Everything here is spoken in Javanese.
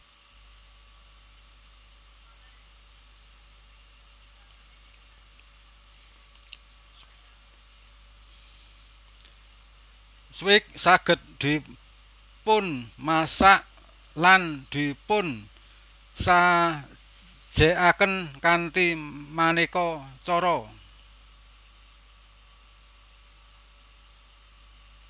Swike saged dipunmasak lan dipunsajèkaken kanthi manéka cara